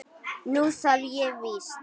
Nú þarf ég víst.